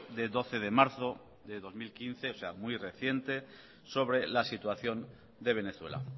de doce de marzo de dos mil quince o sea muy reciente sobre la situación de venezuela